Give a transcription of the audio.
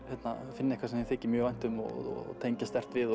finni eitthvað sem þeim þykir mjög vænt um og tengja sterkt við og